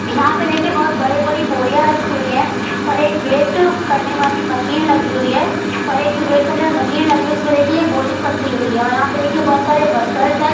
यहाँ पे देखिये बहुत बड़ी-बड़ी बोरिया रखी हुई है और एक वेट करने वाली मशीन लगी हुई है और एक जो वेट करने वाली मशीन लगी हुई है उसमे देखिये एक बोरी फसी हुई है और यहाँ पे देखिये बहुत सारे वर्कर्स है।